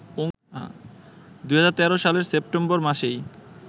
২০১৩ সালের সেপ্টেম্বর মাসেই